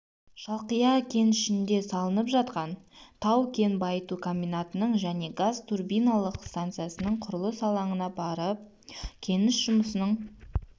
шалқия кенішінде салынып жатқан тау-кен байыту комбинатының және газ-турбиналық станциясының құрылыс алаңына барып кеніш жұмысының